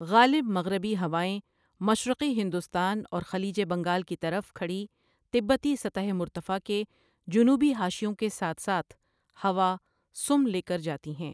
غالب مغربی ہوائیں مشرقی ہندوستان اور خلیج بنگال کی طرف کھڑی تبتی سطح مرتفع کے جنوبی حاشیوں کے ساتھ ساتھ ہواسم لے کر جاتی ہیں۔